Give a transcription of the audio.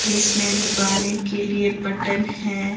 जिसमें दबाने के लिए बटन है।